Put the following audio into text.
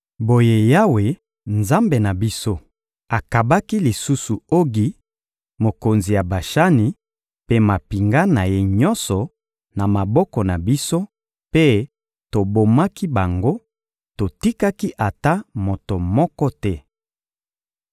Boye Yawe, Nzambe na biso, akabaki lisusu Ogi, mokonzi ya Bashani, mpe mampinga na ye nyonso, na maboko na biso; mpe tobomaki bango, totikaki ata moto moko te.